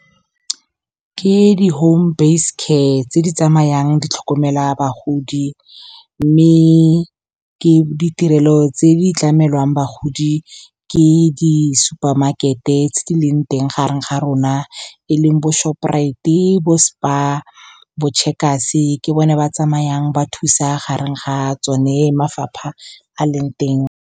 Ke di-home based care tse di tsamayang ditlhokomela bagodi. Mme ke ditirelo tse di tlamelwang bagodi, ke di-supermarket-e tse di leng teng gareng ga rona, e leng bo-Shoprite-e, bo-Spar, bo-Checkers. Ke bone ba tsamayang ba thusa gareng ga tsone mafapha a leng teng.